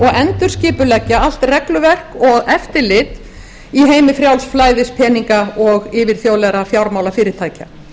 og endurskipuleggja allt regluverk og eftirlit í heimi frjáls flæðis peninga og yfirþjóðlegra fjármálafyrirtækja